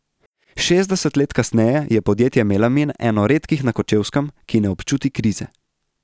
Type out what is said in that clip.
Šestdeset let kasneje je podjetje Melamin eno redkih na Kočevskem, ki ne občuti krize.